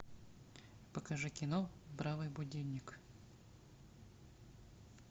покажи кино бравый будильник